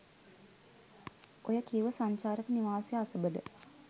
ඔය කිව්ව සංචාරක නිවාසය අසබඩ